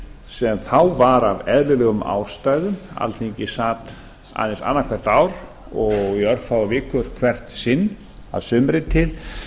sem þá var af eðlilegum ástæðum alþingi sat aðeins annað hvert ár og í örfáar vikur hvert sinn að sumri til